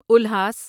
الہاس